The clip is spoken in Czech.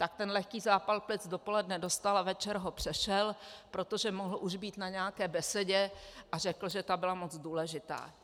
Tak ten lehký zápal plic dopoledne dostal a večer ho přešel, protože už mohl být na nějaké besedě a řekl, že ta byla moc důležitá.